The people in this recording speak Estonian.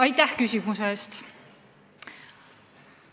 Aitäh küsimuse eest!